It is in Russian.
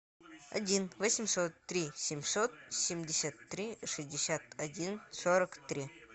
один восемьсот три семьсот семьдесят три шестьдесят один сорок три